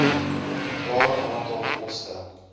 totale aantal poste